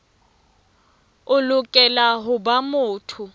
o lokela ho ba motho